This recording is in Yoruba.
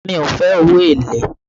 Mi ò fe owó èlé